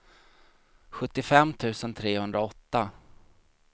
sjuttiofem tusen trehundraåtta